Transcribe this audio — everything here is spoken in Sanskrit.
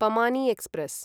पमानि एक्स्प्रेस्